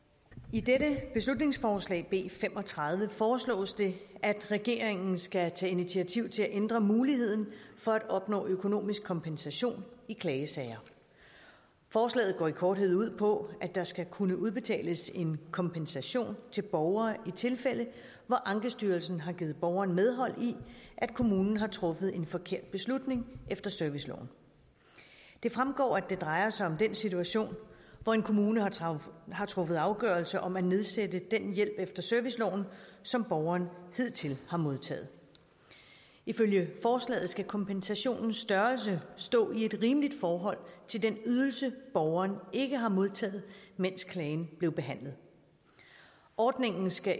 i dette beslutningsforslag b fem og tredive foreslås det at regeringen skal tage initiativ til at ændre muligheden for at opnå økonomisk kompensation i klagesager forslaget går i korthed ud på at der skal kunne udbetales en kompensation til borgere i tilfælde hvor ankestyrelsen har givet borgeren medhold i at kommunen har truffet en forkert beslutning efter serviceloven det fremgår at det drejer sig om den situation hvor en kommune har truffet afgørelse om at nedsætte den hjælp efter serviceloven som borgeren hidtil har modtaget ifølge forslaget skal kompensationens størrelse stå i et rimeligt forhold til den ydelse borgeren ikke har modtaget mens klagen blev behandlet ordningen skal